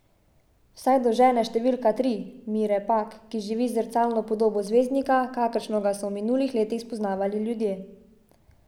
Vsaj do žene številka tri, Mire Pak, ki živi z zrcalno podobo zvezdnika, kakršnega so ga v minulih letih spoznavali ljudje.